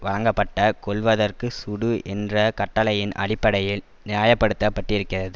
வழங்கப்பட்ட கொல்வதற்கு சுடு என்ற கட்டளையின் அடிப்படையில் நியாய படுத்த பட்டிருக்கிறது